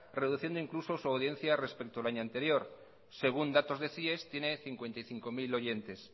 reduciendo incluso su audiencia respecto al año anterior según datos de cies tiene cincuenta y cinco mil oyentes